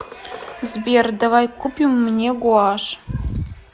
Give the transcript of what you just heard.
сбер давай купим мне гуашь